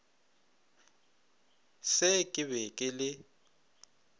se ke be ke le